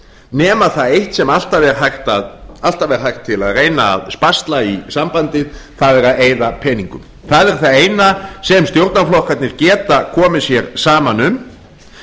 nema það eitt sem alltaf er hægt að reyna að sparsla í sambandið það er að eyða peningum það er það eina sem stjórnarflokkarnir geta komið sér saman um